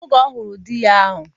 Oge Ọ fụrụ di ya ahụ